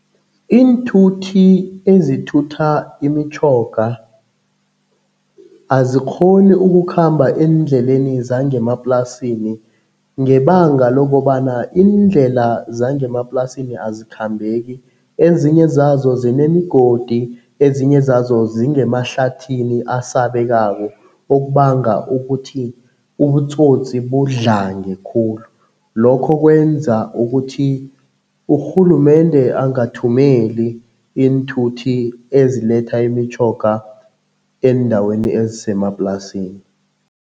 Iinthuthi ezithutha imitjhoga azikghoni ukukhamba eendleleni zangemaplasini ngebanga lokobana iindlela zangemaplasini azikhambeki. Ezinye zazo zinemigodi, ezinye zazo zingemahlathini asabekako, okubanga ukuthi ubutsotsi budlange khulu. Lokho kwenza ukuthi urhulumende angathumeli iinthuthi eziletha imitjhoga eendaweni ezisemaplasini.